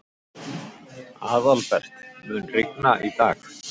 Aðalbert, mun rigna í dag?